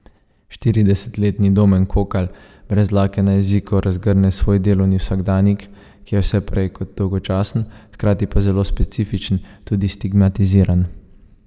Štiridesetletni Domen Kokalj brez dlake na jeziku razgrne svoj delovni vsakdanjik, ki je vse prej kot dolgočasen, hkrati pa zelo specifičen, tudi stigmatiziran.